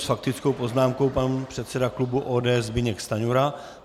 S faktickou poznámkou pan předseda klubu ODS Zbyněk Stanjura.